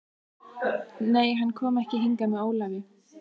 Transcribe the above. Nei, hann kom ekki hingað með Ólafi.